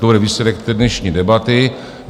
To bude výsledek té dnešní debaty.